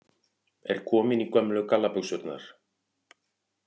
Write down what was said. Er komin í gömlu gallabuxurnar